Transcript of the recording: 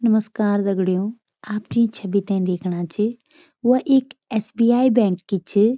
नमश्कार दगड़ियों आप जीं छवि ते दिखणा च व एक एस.बी.आई. बैंक की च।